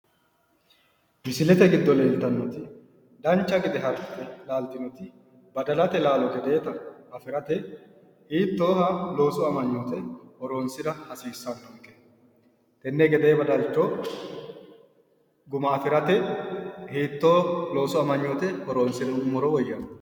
misilete giddo leeltannoti dancha gede laaltinoti badalate laalo gedeeta afirate hiittooha loosu amanyoote horonsira hasiissannonke? tenne gedee badalcho guma afirate hitoo loosu amanyooti horonsirummoro woyyannonke?